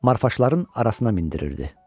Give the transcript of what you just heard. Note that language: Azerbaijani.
marfaşların arasına mindirirdi.